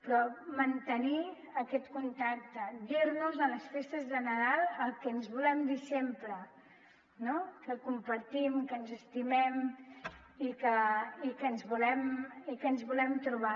però mantenir aquest contacte dir nos a les festes de nadal el que ens volem dir sempre no que compartim que ens estimem i que ens volem trobar